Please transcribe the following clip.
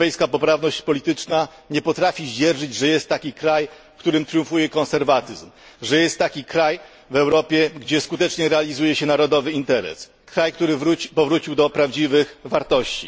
Europejska poprawność polityczna nie potrafi zdzierżyć, że jest taki kraj, w którym triumfuje konserwatyzm, że jest taki kraj w Europie, gdzie skutecznie realizuje się narodowy interes, kraj, który powrócił do prawdziwych wartości.